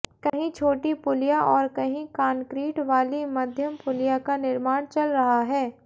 कहीं छोटी पुलिया और कहीं कांक्रीट वाली मध्यम पुलिया का निर्माण चल रहा है